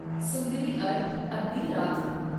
ਸੁੰਦਰੀ ਅਰ ਅੱਧੀ ਰਾਤ ਨੂੰ।